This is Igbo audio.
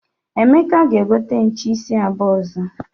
Emeka ga-egote nche isi abuo ozo.